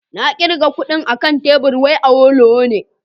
Na kirga kudin akan tebur wai Awolowo ne